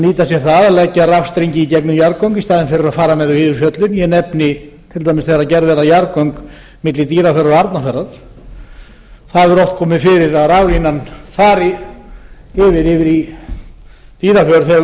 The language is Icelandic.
nýta sér það að leggja rafstrengi í gengum jarðgöng í staðinn fyrir að fara með þau fyrir fjöllin ég nefndi til dæmis þegar gerð verða jarðgöng milli dýrafjarðar og arnarfjarðar það hefur oft komið fyrir að raflínan þar yfir í dýrafjörð yfir